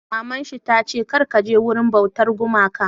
Maman shi ta ce 'Kar ka je wurin bautar gumakan'!